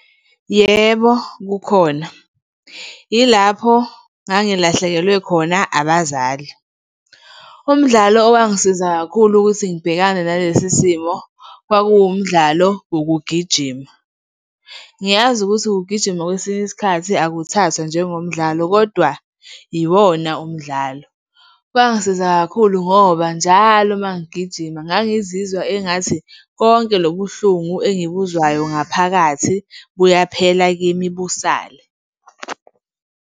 Yebo, kukhona. Yilapho ngangilahlekelwe khona abazali. Umdlalo owangisiza kakhulu ukuthi ngibhekane nalesi simo kwakuwumdlalo wokugijima. Ngiyazi ukuthi ukugijima, kwesinye isikhathi, akuthathwa njengomdlalo kodwa iwona umdlalo. Kwangisiza kakhulu ngoba njalo uma ngigijima ngangizizwa engathi konke lobuhlungu engibuzwayo ngaphakathi buyaphela kimi busale.